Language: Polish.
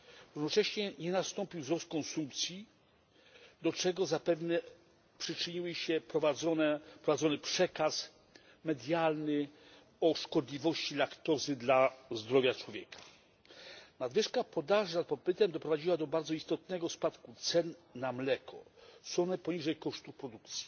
Jednocześnie nie nastąpił wzrost konsumpcji, do czego zapewne przyczynił się prowadzony przekaz medialny o szkodliwości laktozy dla zdrowia człowieka. Nadwyżka podaży nad popytem doprowadziła do bardzo istotnego spadku cen mleka, są one poniżej kosztów produkcji.